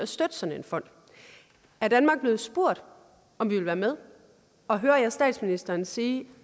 støtte sådan en fond er danmark blevet spurgt om vi vil være med og hører jeg statsministeren sige